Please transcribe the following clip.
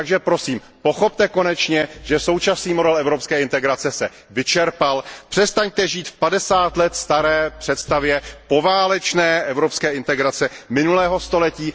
Takže prosím, pochopte konečně, že současný model evropské integrace se vyčerpal. Přestaňte žít v padesát let staré představě poválečné evropské integrace minulého století